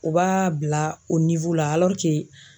U b'a bila o la .